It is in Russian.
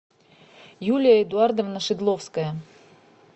юлия эдуардовна шедловская